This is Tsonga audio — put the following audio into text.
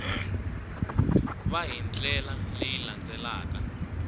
va hi ndlela leyi landzelaka